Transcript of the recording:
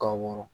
Ka wɔrɔn